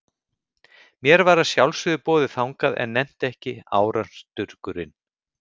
Mér var að sjálfsögðu boðið þangað, en nennti ekki, árans durgurinn.